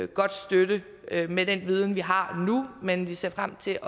godt støtte med den viden vi har nu men vi ser frem til